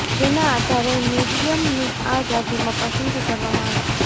જેના આધારે મરિયમની આ યાદીમાં પસંદગી કરવામાં આવી છે